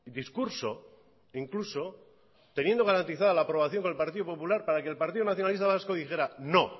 discurso incluso teniendo garantizada la aprobación con el partido popular para que el partido nacionalista vasco dijera no